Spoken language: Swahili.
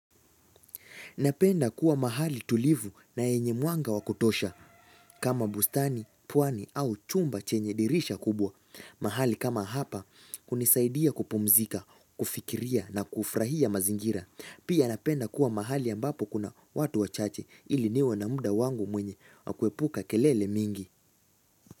Napenda kuwa mahali tulivu na yenye mwanga wa kutosha. Kama bustani, pwani au chumba chenye dirisha kubwa. Mahali kama hapa kunisaidia kupumzika, kufikiria na kufrahia mazingira. Pia napenda kuwa mahali ambapo kuna watu wachache ili niwe na muda wangu mwenye wa kuepuka kelele mingi.